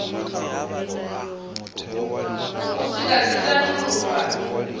u swika dzi tshi tandululwa